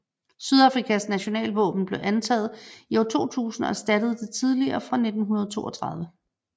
Sydafrikas nationalvåben blev antaget i år 2000 og erstattede det tidligere fra 1932